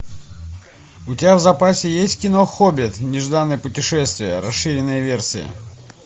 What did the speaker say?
у тебя в запасе есть кино хоббит нежданное путешествие расширенная версия